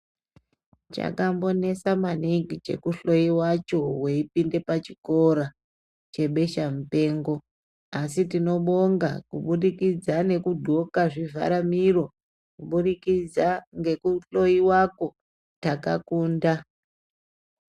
Chakambonesa maningi chekuhloyiwacho weipinda pachikora chebesha mupengo asi tinobonga kubudikidza nekudhloka zvivhara miro ,kubudikidza ngekuhloyiwakwo takakunda.